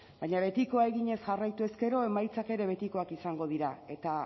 baina betikoa eginez jarraituz gero emaitzak ere betikoak izango dira eta